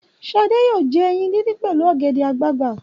Ṣadé yóò jẹ ẹyin dídín pẹ̀lú ọ̀gẹ̀dẹ̀ àgbagbà.